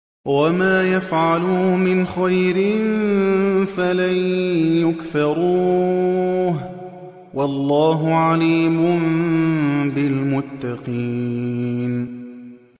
وَمَا يَفْعَلُوا مِنْ خَيْرٍ فَلَن يُكْفَرُوهُ ۗ وَاللَّهُ عَلِيمٌ بِالْمُتَّقِينَ